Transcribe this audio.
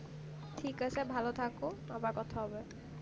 ঠিক আছে ভালো থাকো আবার কথা হবে